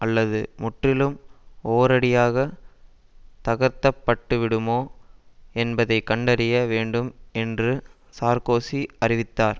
அல்லது முற்றிலும் ஒரேயடியாக தகர்க்க பட்டு விடுமோ என்பதை கண்டறிய வேண்டும் என்று சார்க்கோசி அறிவித்தார்